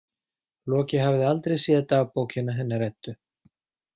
Loki hafði aldrei séð dagbókina hennar Eddu.